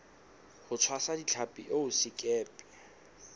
ho tshwasa ditlhapi eo sekepe